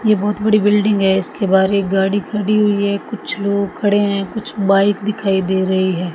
यह बहुत बड़ी बिल्डिंग है इसके बाहर गाड़ी खड़ी हुई है कुछ लोग खड़े हैं कुछ बाइक दिखाई दे रही है।